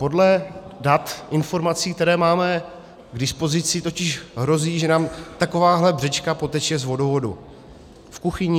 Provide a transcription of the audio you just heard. Podle dat, informací, které máme k dispozici, totiž hrozí, že nám takováhle břečka poteče z vodu v kuchyni.